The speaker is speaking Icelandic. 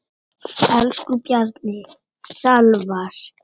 Elsku Bjarni Salvar.